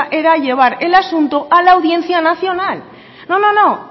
era llevar el asunto a la audiencia nacional no no no